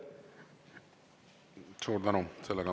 Suur tänu!